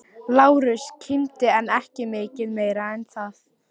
Lárus kímdi en ekki mikið meira en það.